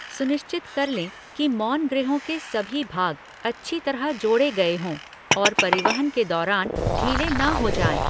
सुनिश्चित कर लें कि मौनगृहों के सभी भाग अच्छी तरह जोड़े गए हों और परिवहन के दौरान ढीले न हो जाएँ।